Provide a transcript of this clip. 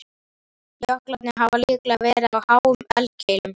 Jöklarnir hafa líklega verið á háum eldkeilum.